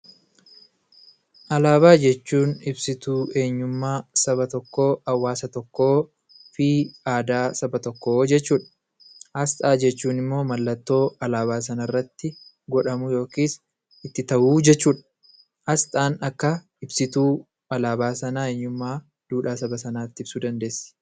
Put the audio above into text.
Alaabaa jechuun ibsituu eenyummaa saba tokkoo, hawaasa tokkoo fii aadaa saba tokkoo jechuudha. Asxaa jechuun immoo mallattoo alaabaa sanarratti godhamu yookis itti ta'uu jechuudha. Asxaan akka ibsituu alaabaa sanaa eenyummaa duudhaa saba sanaatti ibsuu dandeessi.